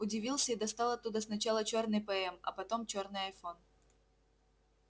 удивился и достал оттуда сначала чёрный пм а потом чёрный айфон